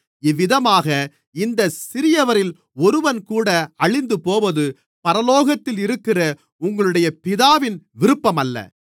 இவ்விதமாக இந்தச் சிறியவரில் ஒருவன்கூட அழிந்துபோவது பரலோகத்திலிருக்கிற உங்களுடைய பிதாவின் விருப்பமல்ல